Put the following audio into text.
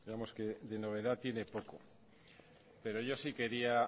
digamos que de novedad tiene poco pero yo sí quería